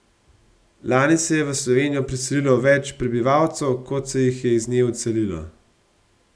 Lani se je v Slovenijo priselilo več prebivalcev, kot se jih je iz nje odselilo.